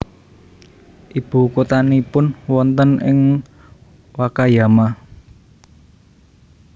Ibu kotanipun wonten ing Wakayama